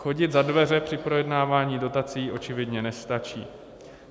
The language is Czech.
Chodit za dveře při projednávání dotací očividně nestačí.